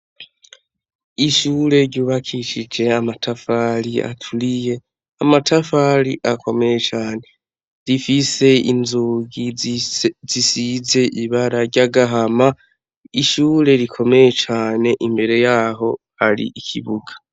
Ishure ryubakisije amatafari aturiye. Amatafari akomeye cane, rifise inzugi zisize ibara ry'agahama, ishure rikomeye cane, imbere yaho hari ikibuga.